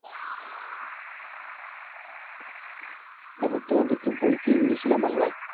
তারপর তোমার কি বই কি ইংলিশে না বাংলায়?